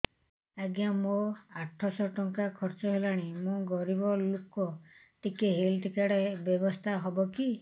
ଆଜ୍ଞା ମୋ ଆଠ ସହ ଟଙ୍କା ଖର୍ଚ୍ଚ ହେଲାଣି ମୁଁ ଗରିବ ଲୁକ ଟିକେ ହେଲ୍ଥ କାର୍ଡ ବ୍ୟବସ୍ଥା ହବ କି